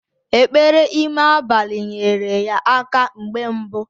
Ekpere ime abalị nyere ya aka mgbe mbu